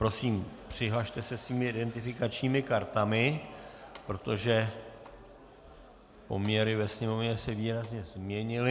Prosím, přihlaste se svými identifikačními kartami, protože poměry ve sněmovně se výrazně změnily.